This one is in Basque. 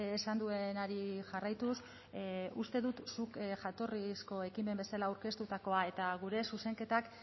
esan duenari jarraituz uste dut zuk jatorrizko ekimen bezala aurkeztutakoa eta gure zuzenketak